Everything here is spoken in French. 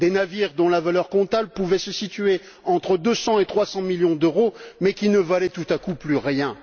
Des navires dont la valeur comptable pouvait se situer entre 200 et 300 millions d'euros mais qui ne valaient, tout à coup, plus rien.